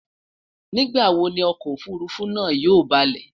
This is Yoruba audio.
nígbà wò Ni ọkọ òfurufú náà yóò baalé?